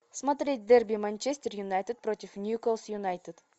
смотреть дерби манчестер юнайтед против ньюкасл юнайтед